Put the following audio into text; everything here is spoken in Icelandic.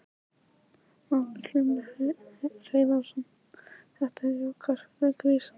Magnús Hlynur Hreiðarsson: Þetta er jákvætt fyrir grísina?